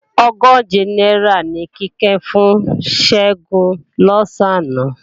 Ogóje náírà ni Kíkẹ́ fún Ṣẹ́gun lọ̀sán àná